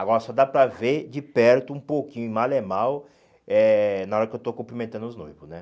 Agora só dá para ver de perto um pouquinho, mal é mal, eh na hora que eu estou cumprimentando os noivos, né?